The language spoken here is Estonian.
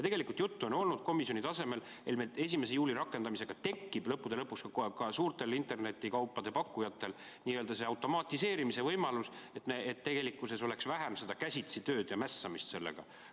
Juttu on olnud komisjoni tasemel, et 1. juulil rakendamise tõttu tekib lõppude lõpuks ka suurtel internetikaupade pakkujatel automatiseerimise võimalus, et oleks vähem käsitsitööd ja mässamist sellega.